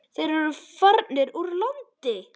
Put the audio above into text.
Þeir eru farnir úr landi.